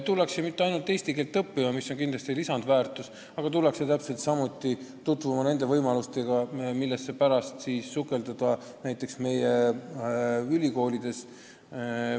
Tullakse mitte ainult eesti keelt õppima, mis on kindlasti lisandväärtus, vaid tullakse täpselt samuti tutvuma võimalustega, mida pärast kasutada meie ülikoolides.